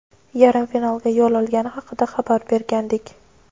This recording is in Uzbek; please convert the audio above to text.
yarim finalga yo‘l olgani haqida xabar bergandik.